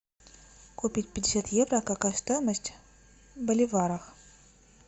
купить пятьдесят евро какая стоимость в боливарах